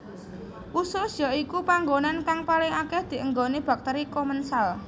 Usus ya iku panggonan kang paling akeh dinggoni bakteri komensal